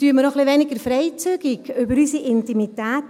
Sprechen wir doch etwas weniger freizügig über unsere Intimität.